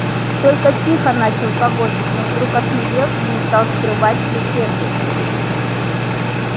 только тихо начал погонщик но вдруг осмелел и не стал скрывать что сердится